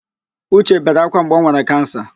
Uche bere ákwá mgbe o nwere kansa.